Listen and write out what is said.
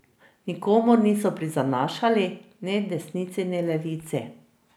Nikomur niso prizanašali, ne desnici ne levici.